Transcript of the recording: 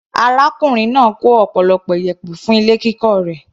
Arákùnrin náà kó ọ̀pọ̀lọpọ̀ iyẹ̀pẹ̀ fún ilé kíkọ́ rẹ̀.